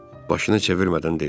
Başını çevirmədən dedi.